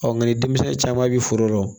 nka denmisɛnnin caman bi foro dɔn